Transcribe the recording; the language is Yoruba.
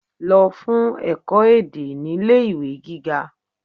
Lo fun eko ede nile iwe giga